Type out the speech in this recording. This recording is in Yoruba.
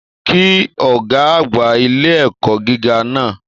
Kí ọgá àgbà ilé ẹ̀kọ́ gíga náà!